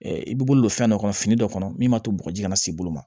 i b'i bolo don fɛn dɔ kɔnɔ fini dɔ kɔnɔ min b'a to bɔgɔji kana se bolo ma